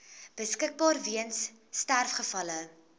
beskikbaar weens sterfgevalle